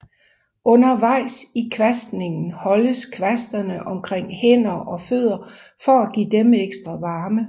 Undervejs i kvastningen holdes kvastene omkring hænder og fødder for at give dem ekstra varme